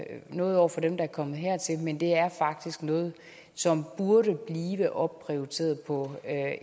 noget over for dem der er kommet hertil men det er faktisk noget som burde blive opprioriteret på